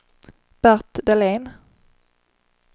Bert Dahlén